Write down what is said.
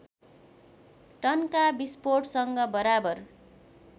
टनका विस्फोटसँग बराबर